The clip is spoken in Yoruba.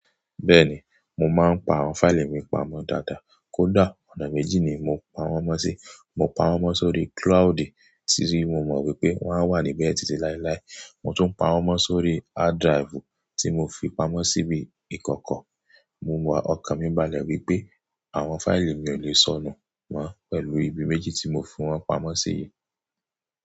Bẹ́ẹ̀ni, mo máa ń pa àwọn fáìlì mi pamọ́ dáadáa. Kódà ọ̀nà méjì ni mo ń pawon mọ́ sí. Mo ń pamọ́ sórí cloudi tí mo mọ̀ wípé wọ́n á wà níbẹ̀ títí láéláé, mo tún ń pamọ́ sórí hard drive tí mo fi pamọ́ síbí ìkọ̀kọ̀. Mo mọ ọkàn mi balẹ̀ wípé àwọn fáìlì mi ò le sọnù mọ́ pẹ̀lú ibi méjì tí mo fi wọ́n pamọ́ síyi.